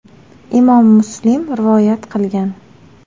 Imom Muslim rivoyat qilgan.